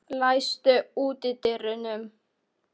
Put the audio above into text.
Arthúr, læstu útidyrunum.